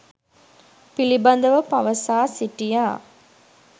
පිලිබදව පවසා සිටියා.